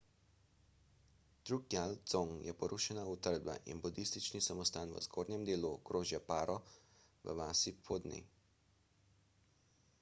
drukgyal dzong je porušena utrdba in budistični samostan v zgornjem delu okrožja paro v vasi phodney